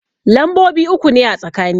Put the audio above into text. Lambobi uku ne a tsakani.